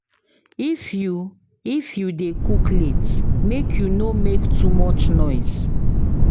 If you If you dey cook late, make you no make too much noise.